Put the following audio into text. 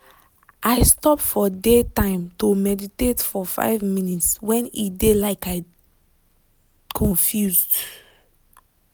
i stop for day time to meditate for five minutes when e dey like i confused.